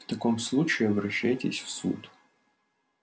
в таком случае обращайтесь в суд